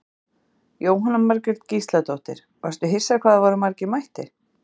Jóhanna Margrét Gísladóttir: Varstu hissa hvað það voru margir mættir?